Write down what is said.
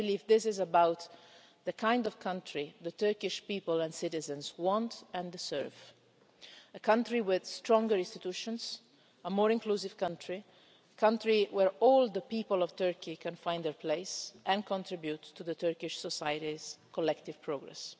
I believe it is about the kind of country the Turkish people and citizens want and deserve a country with stronger institutions, a more inclusive country, and a country where all the people of Turkey can find their place and contribute to Turkish society's collective progress.